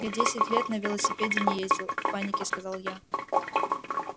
я десять лет на велосипеде не ездил в панике сказал я